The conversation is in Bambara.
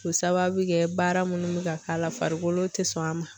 K'o sababu kɛ baara munnu bɛ ka k'a la farikolo tɛ sɔn a ma.